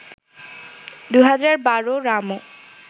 ২০১২ Ramu